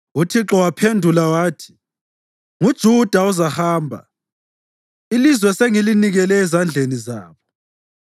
UThixo waphendula wathi, “NguJuda ozahamba; ilizwe sengilinikele ezandleni zabo.”